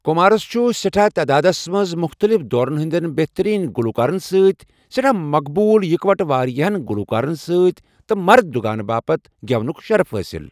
كُمارس چُھ سٮ۪ٹھاہ تادادس منز مختلِف دورن ہندین بہترین گلوكارن سۭتۍ ، سیٹھاہ مقبوُل، اِكوٹہٕ وارِیاہن گلوكارن سۭتۍ تہٕ مرد دٗگانہٕ بٲتھ ،گیونُك شرف حٲصِل ۔